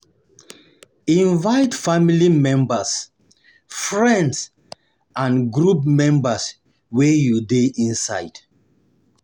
Invite family members, friends and group members wey you de inside